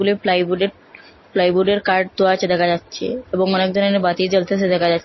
প্লাইউডেট প্লাইউডের কাঠ তো আচে দেখা যাচ্ছে এবং অনেক ধরনের বাতি জ্বলতাসে দেখা যা--